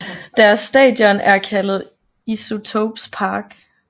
Deres stadion er kaldet Isotopes Park